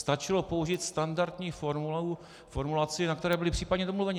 Stačilo použít standardní formulaci, na které byli případně domluveni.